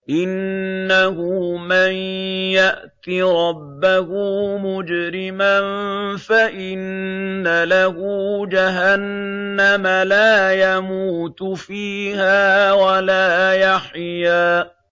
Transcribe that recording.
إِنَّهُ مَن يَأْتِ رَبَّهُ مُجْرِمًا فَإِنَّ لَهُ جَهَنَّمَ لَا يَمُوتُ فِيهَا وَلَا يَحْيَىٰ